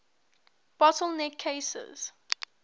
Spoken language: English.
bottle neck cases